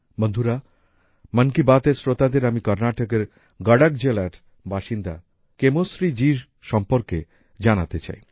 বন্ধুরা মন কি বাতের শ্রোতাদের আমি কর্নাটকের গডক জেলার বাসিন্দা কেমোশ্রী জিএর সম্বন্ধে জানাতে চাই